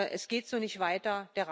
Es geht so nicht weiter.